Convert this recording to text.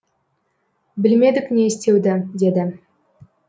білмедік не істеуді деді